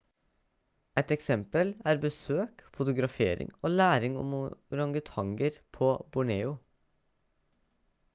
et eksempel er besøk fotografering og læring om orangutanger på borneo